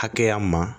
Hakɛya ma